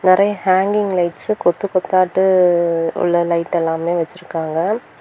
நெறைய hanging lights கொத்து கோத்தாட்டு உள்ள லைட் எல்லாமே வெச்சுருக்காங்க.